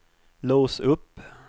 lås upp